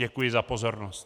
Děkuji za pozornost.